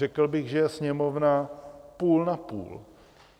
Řekl bych, že je Sněmovna půl na půl.